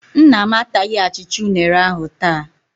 Nna m ataghị achịcha unere ahụ taa.